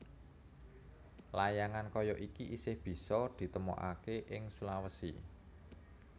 Layangan kaya iki isih bisa ditemokaké ing Sulawesi